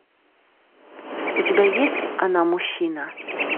у тебя есть она мужчина